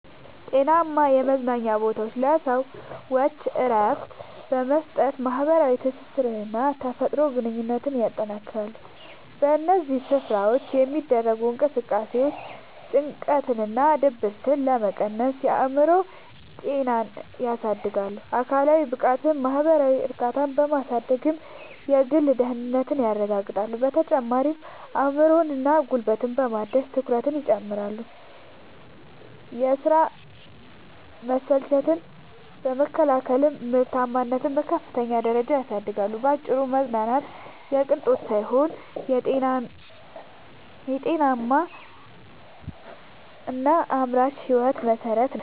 ጤናማ የመዝናኛ ቦታዎች ለሰዎች እረፍት በመስጠት፣ ማኅበራዊ ትስስርንና የተፈጥሮ ግንኙነትን ያጠናክራሉ። በእነዚህ ስፍራዎች የሚደረጉ እንቅስቃሴዎች ጭንቀትንና ድብርትን በመቀነስ የአእምሮ ጤናን ያድሳሉ፤ አካላዊ ብቃትንና ማኅበራዊ እርካታን በማሳደግም የግል ደህንነትን ያረጋግጣሉ። በተጨማሪም አእምሮንና ጉልበትን በማደስ ትኩረትን ይጨምራሉ፤ የሥራ መሰልቸትን በመከላከልም ምርታማነትን በከፍተኛ ደረጃ ያሳድጋሉ። ባጭሩ መዝናናት የቅንጦት ሳይሆን የጤናማና አምራች ሕይወት መሠረት ነው።